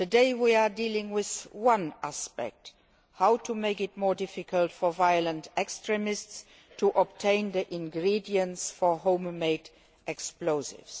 Today we are dealing with one aspect how to make it more difficult for violent extremists to obtain the ingredients for home made explosives.